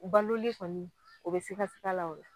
U balolen kɔni o be sikasika la o la